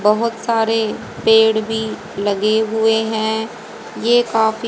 बहोत सारे पेड़ भी लगे हुए है ये काफी--